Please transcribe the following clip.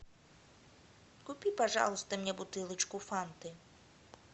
купи пожалуйста мне бутылочку фанты